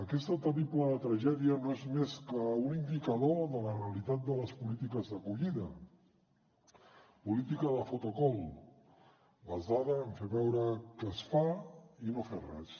aquesta terrible tragèdia no és més que un indicador de la realitat de les polítiques d’acollida política de photocall basada en fer veure que es fa i no fer res